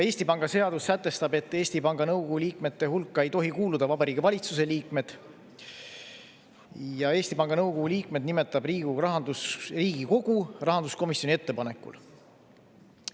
Eesti Panga seadus sätestab, et Eesti Panga nõukogu liikmete hulka ei tohi kuuluda Vabariigi Valitsuse liikmed, ja Eesti Panga nõukogu liikmed nimetab Riigikogu rahanduskomisjoni ettepanekul.